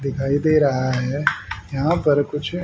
दिखाई दे रहा है यहां पर कुछ--